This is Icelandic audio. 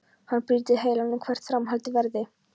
Hann brýtur heilann um hvert framhaldið verði.